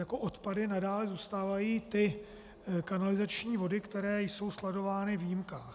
Jako odpady nadále zůstávají kanalizační vody, které jsou skladovány v jímkách.